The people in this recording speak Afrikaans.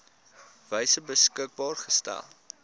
wyse beskikbaar gestel